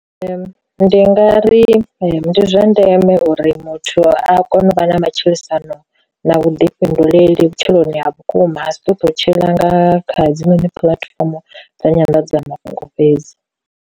Ndi nga ri ndi zwa ndeme uri muthu a kone u vha na matshilisano na vhuḓifhinduleli vhutshiloni ha vhukuma ha si ṱouṱu tshila nga kha dzi puḽatifomo dza nyanḓadzamafhungo fhedzi.